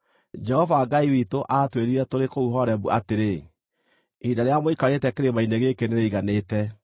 Jehova Ngai witũ aatwĩrire tũrĩ kũu Horebu atĩrĩ, “Ihinda rĩrĩa mũikarĩte kĩrĩma-inĩ gĩkĩ nĩrĩiganĩte.